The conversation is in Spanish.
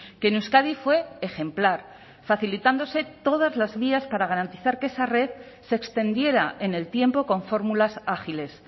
que en euskadi fue ejemplar facilitándose todas las vías para garantizar que esa red se extendiera en el tiempo con fórmulas ágiles